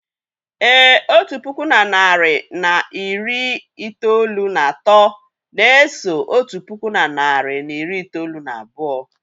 Èé, otu puku na narị na iri itoolu na atọ na-eso otu puku na narị na iri itoolu na abụọ.